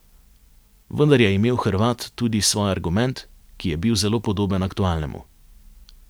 Vendar je imel Hrvat tudi svoj argument, ki je bil zelo podoben aktualnemu.